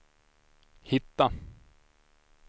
hitta